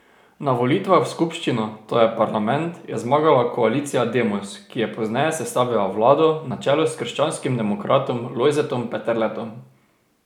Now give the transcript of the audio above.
Na volitvah v skupščino, to je parlament, je zmagala koalicija Demos, ki je pozneje sestavila vlado na čelu s krščanskim demokratom Lojzetom Peterletom.